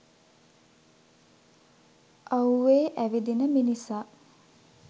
අව්වේ ඇවිදින මිනිසා